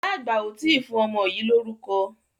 Ìyá àgbà ò tí ì fún ọmọ yìí lórúkọ.